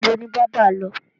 Ibo ni bábà lọ?